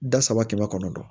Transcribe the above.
Da saba kɛmɛ kɔnɔnɔ dɔn